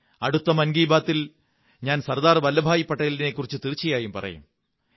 അടുത്ത മൻ കീ ബാത്തിൽ ഞാൻ സര്ദാbർ വല്ലഭ് ഭായി പട്ടേലിനെക്കുറിച്ചു തീര്ച്ചനയായും പറയും